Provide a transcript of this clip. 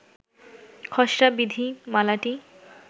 খসড়া বিধিমালাটি